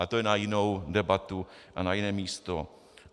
Ale to je na jinou debatu a na jiné místo.